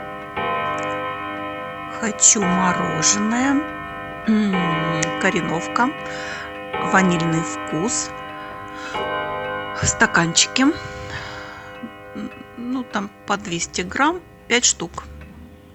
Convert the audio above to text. хочу мороженое кореновка ванильный вкус в стаканчике ну там по двести грамм пять штук